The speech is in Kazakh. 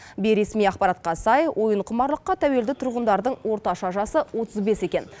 бейресми ақпаратқа сай ойынқұмарлыққа тәуелді тұрғындардың орташа жасы отыз бес екен